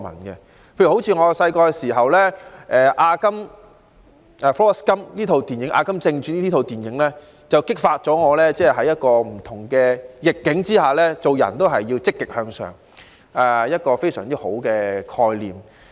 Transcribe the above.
例如我小時候觀看的電影《阿甘正傳》，便激發了我在不同逆境之下均要積極向上，傳遞了一個很好的概念。